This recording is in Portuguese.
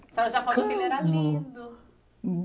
A senhora já falou que ele era lindo.